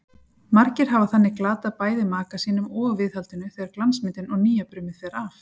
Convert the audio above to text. Margir hafa þannig glatað bæði maka sínum og viðhaldinu þegar glansmyndin og nýjabrumið fer af.